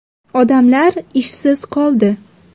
Odamlar ishsiz qoldi.